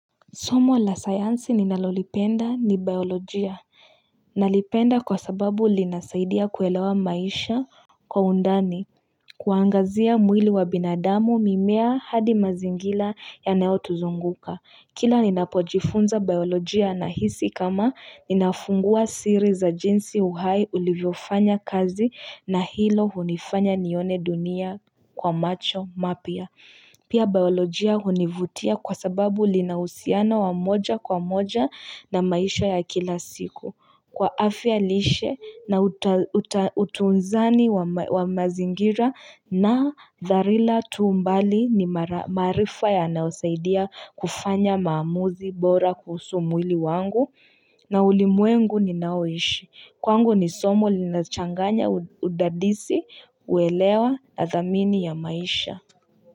Somo la sayansi ninalolipenda ni biolojia nalipenda kwa sababu linasaidia kuelewa maisha Kwa undani Kuangazia mwili wa binadamu mimea hadi mazingira ya neo tuzunguka Kila ninapojifunza biolojia na hisi kama ninafungua siri za jinsi uhai ulivyofanya kazi na hilo hunifanya nione dunia kwa macho mapia Pia biolojia hunivutia kwa sababu linahusiana wamoja kwa moja na maisha ya kila siku. Kwa afya lishe na utunzani wa mazingira na dharila tuumbali ni marifa ya nausaidia kufanya maamuzi bora kuhusu mwili wangu na ulimwengu ninaoishi. Kwangu ni somo lina changanya udadisi uelewa na zamini ya maisha.